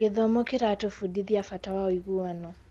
Gĩthomo kĩratũbundithia bata wa ũiguano.